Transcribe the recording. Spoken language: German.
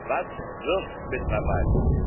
Was wirkt mittlerweile?